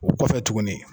O kɔfɛ tuguni